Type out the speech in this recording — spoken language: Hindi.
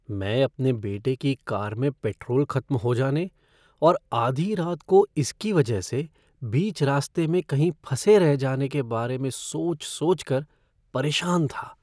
मैं अपने बेटे की कार में पेट्रोल खत्म हो जाने और आधी रात को इसकी वजह से बीच रास्ते में कहीं फंसे रह जाने के बारे में सोच सोच कर मैं परेशान था।